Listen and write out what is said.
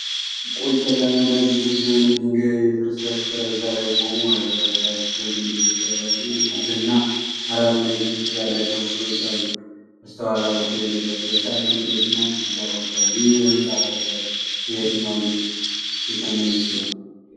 ጨለማና ግዙፍ የሆነ የድንጋይ ፍርስራሽ ኮረብታ ላይ ቆሞ። ፍርስራሹ ከግንብ የተሰራ ሲሆን፣ ክብና አራት ማዕዘን ቅርጽ ያላቸው ክፍሎች አሉት። በስተኋላ በኩል የደረቁ የሳር ክምሮችና ጥቂት ዛፎች አሉ። ይህ የህንፃ ፍርስራሽ የየትኛው ንጉሥ ቤተ መንግሥት ይሆን?